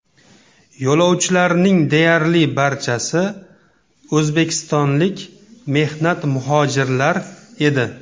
Yo‘lovchilarning deyarli barchasi o‘zbekistonlik mehnat muhojirlar edi.